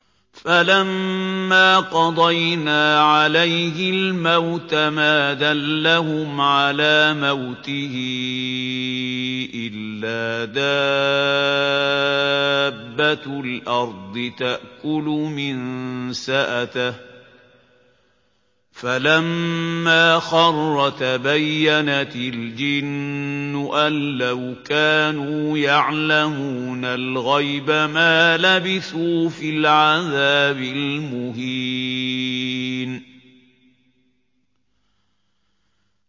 فَلَمَّا قَضَيْنَا عَلَيْهِ الْمَوْتَ مَا دَلَّهُمْ عَلَىٰ مَوْتِهِ إِلَّا دَابَّةُ الْأَرْضِ تَأْكُلُ مِنسَأَتَهُ ۖ فَلَمَّا خَرَّ تَبَيَّنَتِ الْجِنُّ أَن لَّوْ كَانُوا يَعْلَمُونَ الْغَيْبَ مَا لَبِثُوا فِي الْعَذَابِ الْمُهِينِ